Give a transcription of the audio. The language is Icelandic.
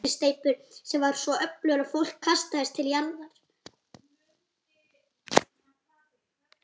Í kjölfarið fylgdi heitur vindsveipur sem var svo öflugur að fólk kastaðist til jarðar.